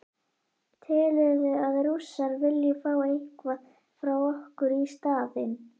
Telurðu að Rússar vilji fá eitthvað frá okkur í staðinn?